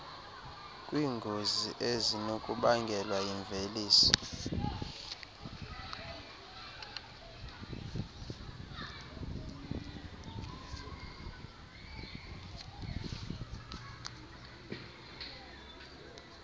kwiingozi ezinokubangelwa yimveliso